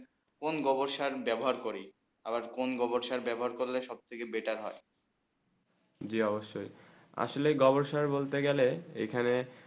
কোন গোবসার বেবহার করি আবার কোন গোবসার বেবহার করলে সব থেকে বেটার হয়ে জী অবসয়ে আসলে গোবরসার বলতে গেলে এখানে